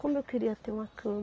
Como eu queria ter uma